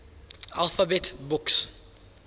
alphabet books